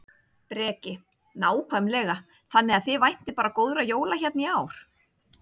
Breki: Nákvæmlega, þannig að þið væntið bara góðra jóla hérna í ár?